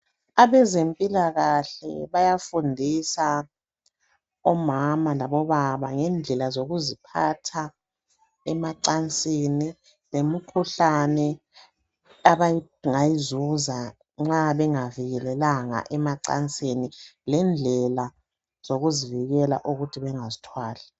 Abezempilakahle bayafundisa omama labobaba ngendlela zokuziphatha emacansini, lemikhuhlane abangayizuza nxa bengavikelelanga emacansini lendlela zokuzivikela ukuthi bengazithwali.